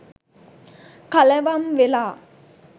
කලවම් වෙලා